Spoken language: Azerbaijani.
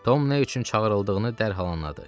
Tom nə üçün çağırıldığını dərhal anladı.